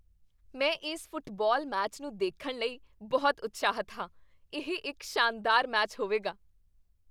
ਮੈਂ ਇਸ football match ਨੂੰ ਦੇਖਣ ਲਈ ਬਹੁਤ ਉਤਸ਼ਾਹਿਤ ਹਾਂ! ਇਹ ਇੱਕ ਸ਼ਾਨਦਾਰ ਮੈਚ ਹੋਵੇਗਾ।